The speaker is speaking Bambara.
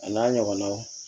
A n'a ɲɔgɔnnaw